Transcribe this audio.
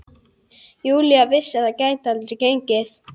Júlía vissi að það gæti aldrei gengið.